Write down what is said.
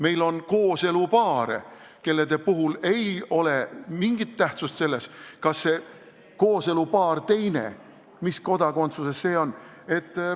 Meil on kooselupaare, kelle puhul ei ole mingit tähtsust, mis kodakondsuses kooselupaari teine osaline on.